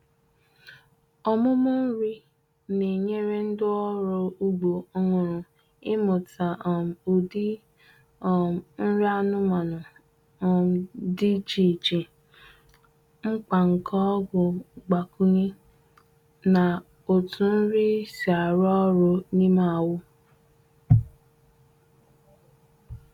Ọmụmụ nri na-enyere ndị ọrụ ugbo ọhụrụ ịmụta um ụdị um nri anụmanụ um dị iche iche, mkpa nke ọgwụ mgbakwunye, na otú nri si arụ ọrụ n’ime ahụ.